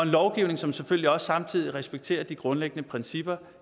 lovgivning som selvfølgelig samtidig respekterer de grundlæggende principper